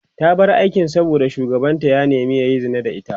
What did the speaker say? ta bar aikin saboda shugabanta ya nema yayi Zina da ita